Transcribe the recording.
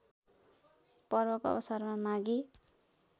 पर्वको अवसरमा माघी